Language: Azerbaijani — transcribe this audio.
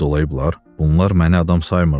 Bunlar məni adam saymırlar.